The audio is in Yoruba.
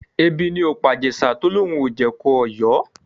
Ebi ni ò pàJèṣà tó lóun ò jẹ̀kọ Ọ̀yọ́